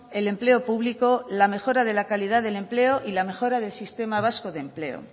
el empleo público la mejora de la calidad del empleo y la mejora del sistema vasco de empleo